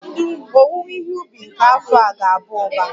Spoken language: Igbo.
Owuwe ihe ubi nke afọ a ga-aba uba